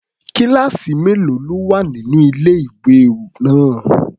Kíláàsì mélòó ló wà nínú ilé-ìwé náà?